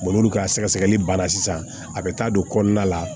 olu ka sɛgɛsɛgɛli ban na sisan a bɛ taa don kɔnɔna la